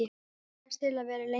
Sagðist til í að vera lengur.